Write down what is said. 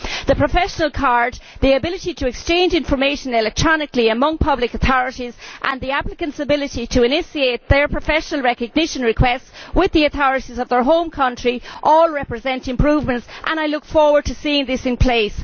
The professional card, the ability to exchange information electronically among public authorities, and the applicants' ability to initiate their professional recognition requests with the authorities of their home country all represent improvements. I look forward to seeing this in place.